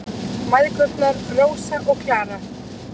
Mæðgurnar, Rósa og Klara.